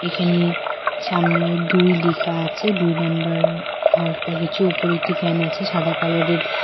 এখানে সামনে দুই লিখা আছে দুই নাম্বার হলকা কিছু উপরে একটি ফ্যান আছে সাদা কালারের ।